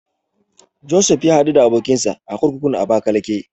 Josef ya haɗu da abokinsa a kurkukun Abakalake.